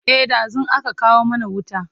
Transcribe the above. e ɗazun aka kawo mana wuta